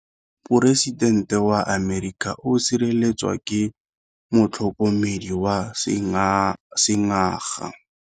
Poresitêntê wa Amerika o sireletswa ke motlhokomedi wa sengaga.